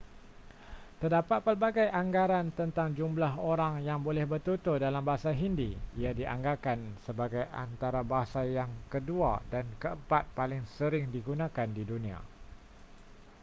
terdapat pelbagai anggaran tentang jumlah orang yang boleh bertutur dalam bahasa hindi ia dianggarkan sebagai antara bahasa yang kedua dan keempat paling sering digunakan di dunia